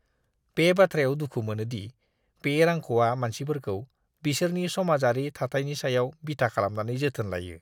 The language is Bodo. बे बाथ्रायाव दुखु मोनो दि बे रांख'आ मानसिफोरखौ बिसोरनि समाजारि थाथायनि सायाव बिथा खालामनानै जोथोन लायो।